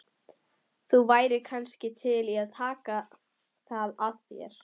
Þú værir kannski til í að taka það að þér?